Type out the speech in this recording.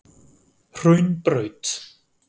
Hraunbraut